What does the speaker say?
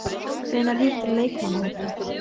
Hvenær hittirðu leikmannahópinn?